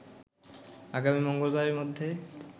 আগামী মঙ্গলবারের মধ্যে